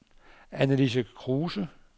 Annalise Kruse